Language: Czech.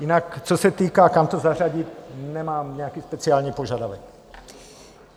Jinak co se týká, kam to zařadit, nemám nějaký speciální požadavek.